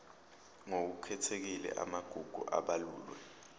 ngokukhethekile amagugu abalulwe